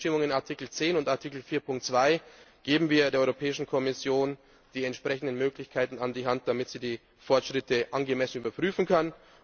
In den Bestimmungen von Artikel 10 und Artikel 4.2 geben wir der Europäischen Kommission die entsprechenden Möglichkeiten an die Hand, damit sie die Fortschritte angemessen überprüfen kann.